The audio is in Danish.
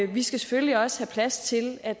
vi skal selvfølgelig også have plads til at